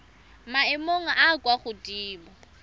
maemong a a kwa godimo